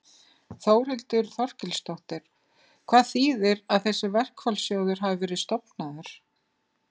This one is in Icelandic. Þórhildur Þorkelsdóttir: Hvað þýðir að þessi verkfallssjóður hafi verið stofnaður?